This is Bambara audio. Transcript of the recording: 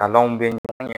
Kalanw bɛ